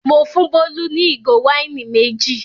Mo fún Bólú ní ìgò wáìnì méjì.